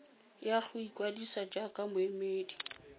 ya go ikwadisa jaaka moemedi